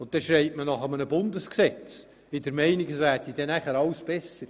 Und sofort wird nach einem Bundesgesetz geschrien, in der Meinung, es wäre dann alles besser.